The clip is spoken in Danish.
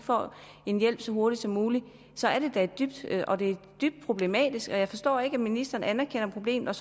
får en hjælp så hurtigt som muligt så er det da dybt problematisk jeg forstår ikke at ministeren anerkender problemet